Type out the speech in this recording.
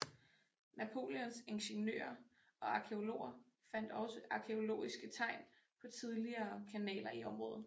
Napoleons ingeniører og arkæologer fandt også arkæologiske tegn på tidligere kanaler i området